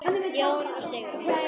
Jón og Sigrún.